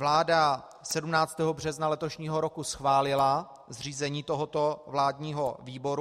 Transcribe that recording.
Vláda 17. března letošního roku schválila zřízení tohoto vládního výboru.